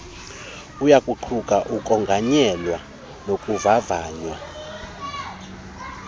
uyakuquka ukonganyelwa nokuvavanywa